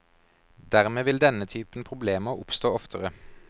Dermed vil denne typen problemer oppstå oftere.